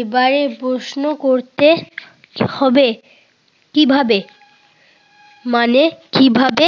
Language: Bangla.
এবারে প্রশ্ন করতে হবে। কিভাবে মানে কিভাবে